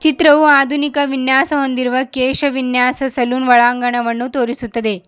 ಚಿತ್ರವು ಆದುನಿಕ ವಿನ್ಯಾಸ ಹೊಂದಿರುವ ಕೇಶ ವಿನ್ಯಾಸ ಸಲೂನ್ ಒಳಾಂಗಣವನ್ನು ತೋರಿಸುತ್ತದೆ.